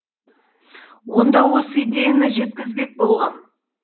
онда осы идеяны жеткізбек болғам